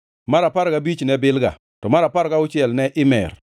mar apar gabich ne Bilga, to mar apar gauchiel ne Imer,